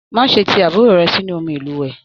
Má ṣe tí àbúrò rẹ̀ sínú omi ilúwẹ!.